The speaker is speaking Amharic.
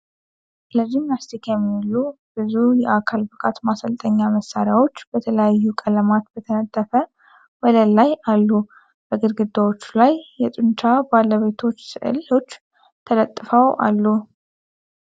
ለጂምናስቲክ የሚውሉ ብዙ የአካል ብቃት ማሠልጠኛ መሣሪያዎች በተለያዩ ቀለማት በተነጠፈ ወለል ላይ አሉ። በግድግዳዎቹ ላይ የጡንቻ ባለቤቶች ሥዕሎች ተለጥፈዋል አሉ።